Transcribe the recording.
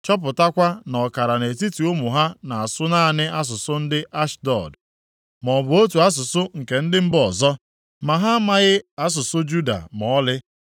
chọpụtakwa na ọkara nʼetiti ụmụ ha na-asụ naanị asụsụ ndị Ashdọd, maọbụ otu asụsụ nke ndị mba ọzọ, ma ha amaghị asụsụ Juda ma ọlị.